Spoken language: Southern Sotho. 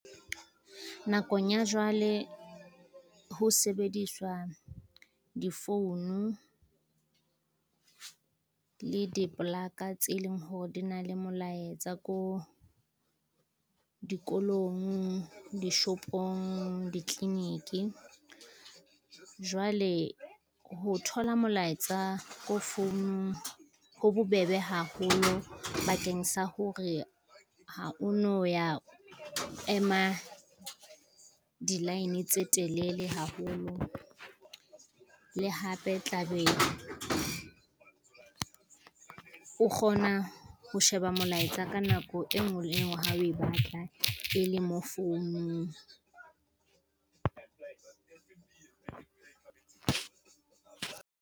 Nakong ya jwale ho sebediswa difounu, le diplaka tse leng hore di na le molaetsa ko dikolong, dishopong, ditleniki. Jwale ho thola molaetsa ko founung ho bo bebe haholo bakeng sa hore ha o no ya ema di-line tse telele haholo, le hape tla be o kgona ho sheba molaetsa ka nako e ngwe le e ngwe ha o e batla e le mo founung.